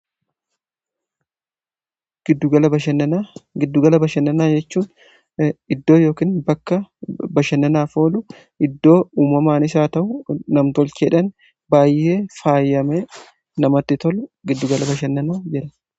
giddugala bashannanaa jechuun iddoo yookkiin bakka bashannanaaf oolu iddoo uumamaanis ta'u namtolcheedhan baayyee faayame namatti tolu giddugala bashannanaa jedhama.